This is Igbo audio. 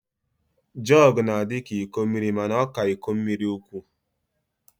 Jọg na-adịka iko mmiri mana ọ ka iko mmiri ukwu